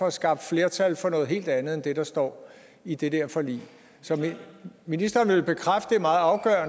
at skaffe flertal for noget helt andet end det der står i det der forlig så vil ministeren bekræfte